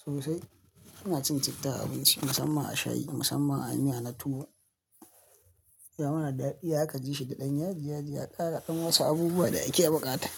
Sosai. Ina cin citta a abinci musamman a shayi musamman a miya na tuwo. Ya mana da daɗi zaka ji shi da ɗan yaji yaji, ya ƙara ɗan wasu abubuwa da ake buƙa ta.